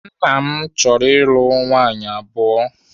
Nna m chọrọ ịlụ nwaanyị abụọ.